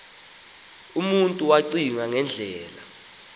umntu wacinga ngendlela